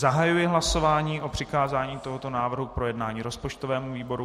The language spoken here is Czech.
Zahajuji hlasování o přikázání tohoto návrhu k projednání rozpočtovému výboru.